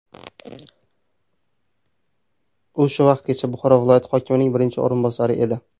U shu vaqtgacha Buxoro viloyati hokimining birinchi o‘rinbosari edi.